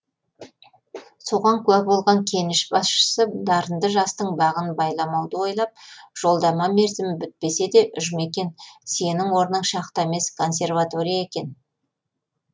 соған куә болған кеніш басшысы дарынды жастың бағын байламауды ойлап жолдама мерзімі бітпесе де жұмекен сенің орның шахта емес консерватория екен